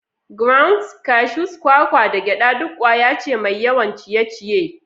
Grounds, cashews, kwakwa, da gyada duk ƙwaya ce mai yawan ciye-ciye.